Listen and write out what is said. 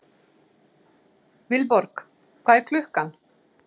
Vilborg, hvað er klukkan?